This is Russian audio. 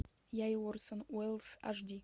я и орсон уэллс аш ди